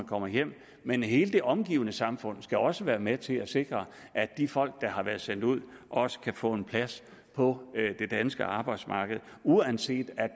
kommer hjem men hele det omgivende samfund skal også være med til at sikre at de folk der har været sendt ud også kan få en plads på det danske arbejdsmarked uanset at